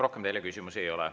Rohkem teile küsimusi ei ole.